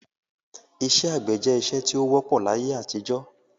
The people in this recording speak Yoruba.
Isẹ́ àgbẹ̀ je isẹ́ ti o wọ́pọ̀ láyé-àtijọ́